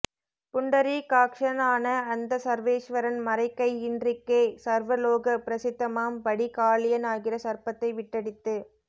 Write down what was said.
புண்டரீகாக்ஷனான அந்த சர்வேஸ்வரன் மறைக்கை இன்றிக்கே சர்வ லோக பிரசித்தமாம் படி காளியன் ஆகிற சர்ப்பத்தை விட்டடித்து